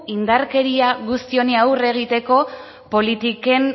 indarkeria guzti honi aurre egiteko politiken